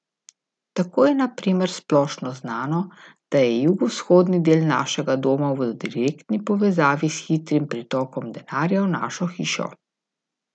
Tako je na primer splošno znano, da je jugovzhodni del našega doma v direktni povezavi s hitrim pritokom denarja v našo hišo.